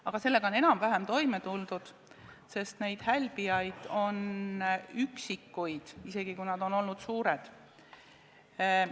Aga sellega on enam-vähem toime tuldud, sest neid hälbijaid on olnud üksikuid, isegi kui nad on olnud suured.